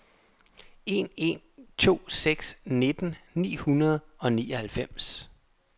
en en to seks nitten ni hundrede og nioghalvfems